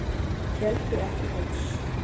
Héldu ekki haus